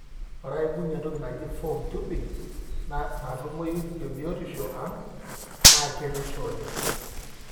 ore aibungie entoki naaji foam tubing, natumoyu tebiotisho ang, na keretisho oleng.